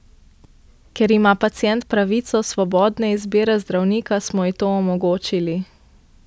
Ker ima pacient pravico svobodne izbire zdravnika, smo ji to omogočili.